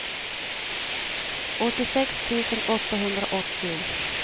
åttiosex tusen åttahundraåttio